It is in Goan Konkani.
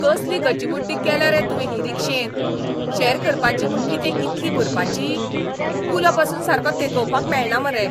कसली गचिमुड्डी केल्या रे तुवें ही रिक्षेंत? शॅर करपाची म्हूण कितें इतली भरपाची? कुलो पासून सारको तेंकोवपाक मेळना मरे.